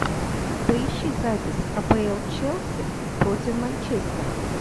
поищи запись апл челси против манчестера